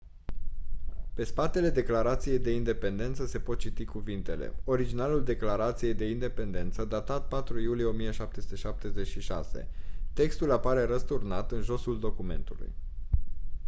pe spatele declarației de independență se pot citi cuvintele: «originalul declarației de independență datat 4 iulie 1776». textul apare răsturnat în josul documentului.